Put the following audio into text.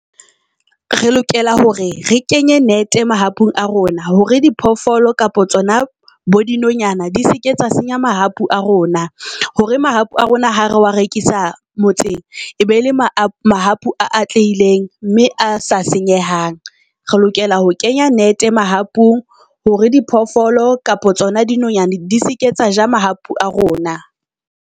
Re lokela hore re kenye nete mahapu a rona hore diphoofolo kapa tsona bo dinonyana di seke tsa senya mahapu a rona. Hore mahapu a rona ha re wa rekisa motseng e be ele mahapu a atlehileng mme a sa senyehang. Re lokela ho kenya nete mahapung hore diphoofolo kapa tsona di nonyana di seke tsa ja mahapu a rona.